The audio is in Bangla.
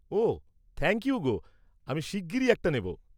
ওহ থ্যাঙ্ক ইউ গো, আমি শিগ্‌গিরই একটা নেব।